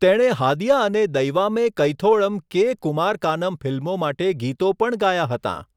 તેણે હાદિયા અને દૈવામે કૈથોળમ કે. કુમારકાનમ ફિલ્મો માટે ગીતો પણ ગાયાં હતાં.